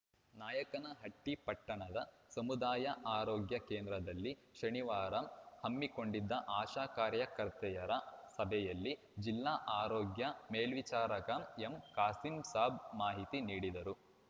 ನಾಯಕನಹಟ್ಟಿಪಟ್ಟಣದ ಸಮುದಾಯ ಆರೋಗ್ಯ ಕೇಂದ್ರದಲ್ಲಿ ಶನಿವಾರ ಹಮ್ಮಿಕೊಂಡಿದ್ದ ಆಶಾ ಕಾರ್ಯಕರ್ತೆಯರ ಸಭೆಯಲ್ಲಿ ಜಿಲ್ಲಾ ಆರೋಗ್ಯ ಮೇಲ್ವೀಚಾರಕ ಎಂ ಕಾಸೀಂಸಾಬ್‌ ಮಾಹಿತಿ ನೀಡಿದರು